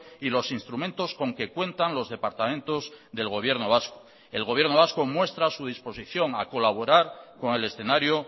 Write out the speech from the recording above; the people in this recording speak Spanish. y los instrumentos con que cuentan los departamentos del gobierno vasco el gobierno vasco muestra su disposición a colaborar con el escenario